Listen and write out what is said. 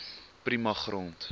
prima grond